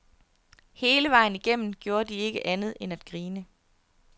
Hele vejen igennem gjorde de ikke andet end at grine.